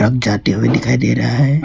अब जाते हुए दिखाई दे रहा है।